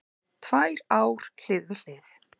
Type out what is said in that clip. Tvær ár hlið við hlið